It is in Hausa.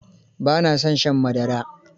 Ba na son shan madara.